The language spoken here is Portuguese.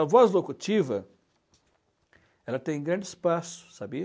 A voz locutiva ela tem grande espaço, sabia?